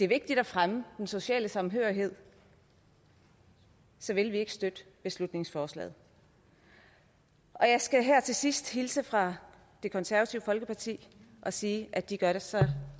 vigtigt at fremme den sociale samhørighed så vil vi ikke støtte beslutningsforslaget og jeg skal her til sidst hilse fra det konservative folkeparti og sige at de gør sig